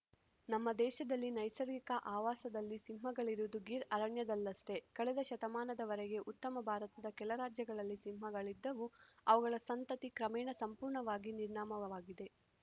ನಮ್ಮ ದೇಶದಲ್ಲಿ ನೈಸರ್ಗಿಕ ಆವಾಸದಲ್ಲಿ ಸಿಂಹಗಳಿರುವುದು ಗಿರ್ ಅರಣ್ಯದಲ್ಲಷ್ಟೇ ಕಳೆದ ಶತಮಾನದವರೆಗೆ ಉತ್ತಮ ಭಾರತದ ಕೆಲ ರಾಜ್ಯಗಳಲ್ಲಿ ಸಿಂಹಗಳಿದ್ದವು ಅವುಗಳ ಸಂತತಿ ಕ್ರಮೇಣ ಸಂಪೂರ್ಣವಾಗಿ ನಿರ್ನಾಮವಾಗಿದೆ